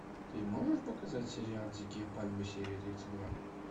ты можешь показать сериал дикие пальмы серия тридцать два